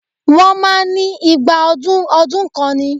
Wọ́n máa ń ní igba ọdún ọdún kan ni